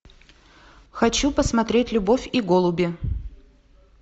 хочу посмотреть любовь и голуби